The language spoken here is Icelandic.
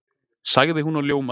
sagði hún og ljómaði.